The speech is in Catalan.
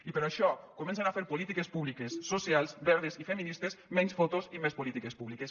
i per això comencin a fer polítiques públiques socials verdes i feministes menys fotos i més polítiques públiques